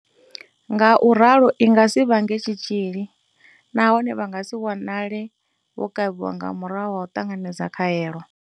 Ngau ralo i nga si vhange tshitzhili nahone vha nga si wanale vho kavhiwa nga murahu ha u ṱanganedza khaelo.